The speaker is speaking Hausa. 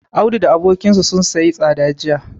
Audu da abokinsa sun siyi tsada jiya.